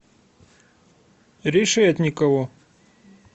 решетникову